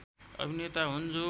अभिनेता हुन् जो